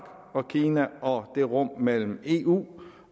og kina og det rum mellem eu